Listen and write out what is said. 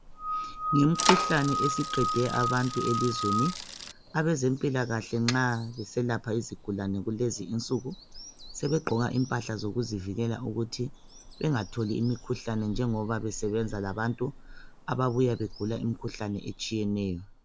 Imkhuhlane esiqede abantu elizweni abezempilakahle nxa beselapha izigulane kulezi insuku, sebegqoka impahla zokuzivikela ukuthi bengatholi imikhuhlane njengoba besebenza labantu ababuya begula imkhuhlane etshiyeneyo.